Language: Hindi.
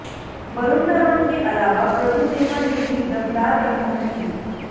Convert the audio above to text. वरुण धवन के अलावा प्रभुदेवा ने भी दमदार परफॉर्मेंस दी